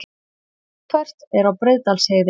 Þungfært er á Breiðdalsheiði